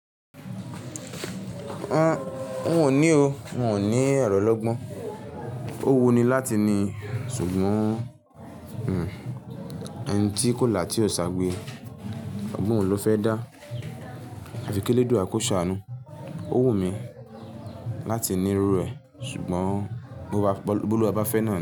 Mi o ní o, mi o ní ero ọ́logbọ́n. Ó wùn ni láti ní, ṣùgbọ́n ẹ̀ńtì kóla tí ò ṣàgbé, ọgbọ́n wo ló fẹ́ dá. Àfi kí eledua ko sàanu. Ó wù mí láti ní irú rẹ̀ ṣùgbọ́n Bólúwà bá fẹ́ náà ni.